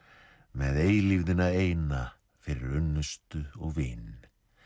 með eilífðina eina fyrir unnustu og vin